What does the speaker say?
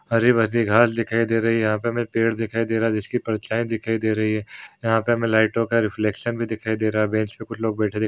हरी-भरी घास दिखाई दे रही है यहाँ पर हमें पेड़ दिखाई दे रहा है जिसकी परछाई दिखाई दे रही हैं यहाँ पर हमे लाइटों का रिफ्लेक्शन भी दिखाई दे रहा है बेंच के उपर लोग बैठे दिखाई --